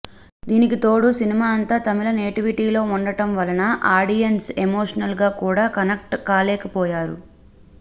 దానికి తోడు సినిమా అంతా తమిళ నేటివిటీలో ఉండటం వలన ఆడియన్స్ ఎమోషనల్ గా కూడా కనెక్ట్ కాలేకపోయాడు